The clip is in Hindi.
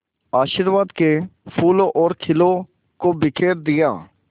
आशीर्वाद के फूलों और खीलों को बिखेर दिया